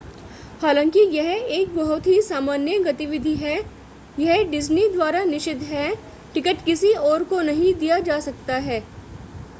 हालांकि यह एक बहुत ही सामान्य गतिविधि है यह डिज्नी द्वारा निषिद्ध है टिकट किसी और को नहीं दिया जा सकता है